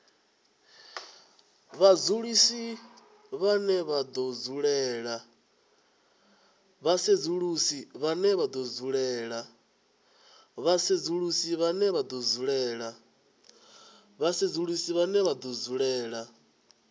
vhasedzulusi vhane vha do dzulela